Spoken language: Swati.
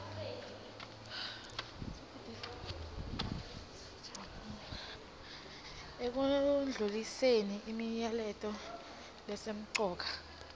ekundluliseni imilayeto lesemcoka